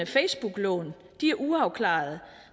facebooklån de er uafklarede